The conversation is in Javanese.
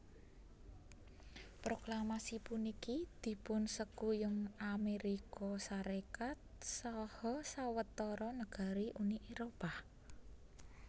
Proklamasi puniki dipun sekuyung Amérika Sarékat saha sawetara negari Uni Éropah